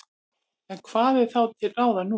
En hvað er þá til ráða nú?